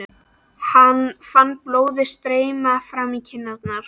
Hann fann blóðið streyma fram í kinnarnar.